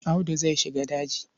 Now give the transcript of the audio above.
Audu zai shiga daji.